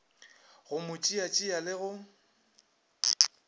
go mo tšeatšea le go